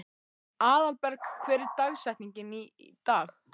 Aðalberg, hver er dagsetningin í dag?